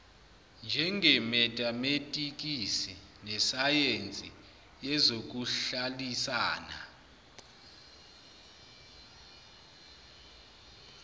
njengemetametikisi nesayensi yezokuhlalisana